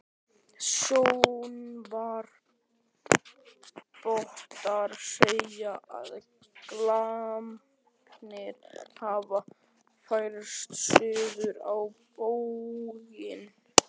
Sjónarvottar segja, að glamparnir hafi færst suður á bóginn.